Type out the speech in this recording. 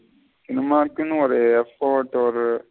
Cinema க்குனு ஒரு effort ஒரு.